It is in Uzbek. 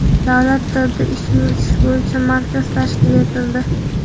Davlat tilida ish yuritish bo‘yicha markaz tashkil etildi.